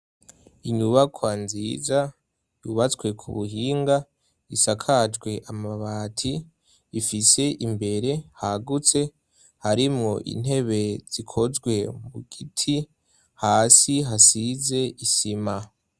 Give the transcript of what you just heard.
Inyubakwa nziza ,yubatswe ku buhinga, isakajwe amabati, ifise imbere hagutse ,harimwo intebe zikozwe mu giti ,hasi hasize isima.